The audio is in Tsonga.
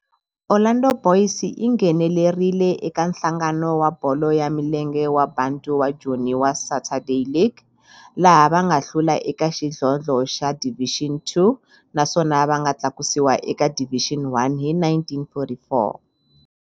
Orlando Boys yi nghenelerile eka Nhlangano wa Bolo ya Milenge wa Bantu wa Joni wa Saturday League, laha va nga hlula eka xidlodlo xa Division Two naswona va nga tlakusiwa eka Division One hi 1944.